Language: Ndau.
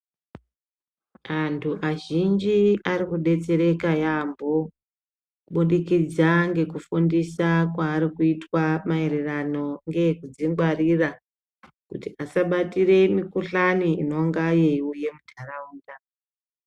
Antu azhinji arikubetsereka yaamho kubudikidza ngekufundisa kurikuitwa mayererano nekudzingwarira kuti asabatire mikhuhlane inonga yeiuye mundaraunda